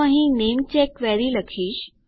તો અહીં name check query લખીશ